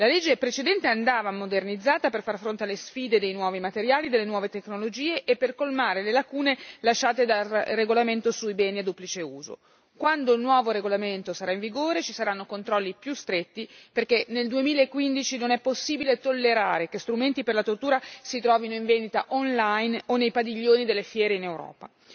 La legge precedente andava modernizzata per far fronte alle sfide dei nuovi materiali, delle nuove tecnologie, e per colmare le lacune lasciate dal regolamento sui beni a duplice uso. Quando il nuovo regolamento sarà in vigore, ci saranno controlli più stretti, perché nel 2015 non è possibile tollerare che strumenti per la tortura si trovino in vendita online o nei padiglioni delle fiere in Europa.